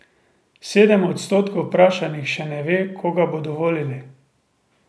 Sedem odstotkov vprašanih še ne ve, koga bodo volili.